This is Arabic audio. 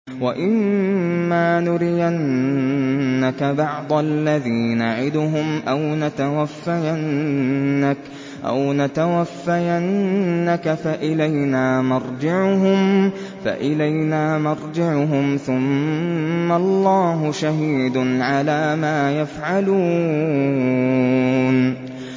وَإِمَّا نُرِيَنَّكَ بَعْضَ الَّذِي نَعِدُهُمْ أَوْ نَتَوَفَّيَنَّكَ فَإِلَيْنَا مَرْجِعُهُمْ ثُمَّ اللَّهُ شَهِيدٌ عَلَىٰ مَا يَفْعَلُونَ